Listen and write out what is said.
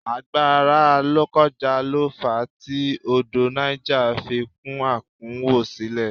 Àgbàrá lokoja lo fa tí odò Niger fi kún àkúnwọ́sílẹ̀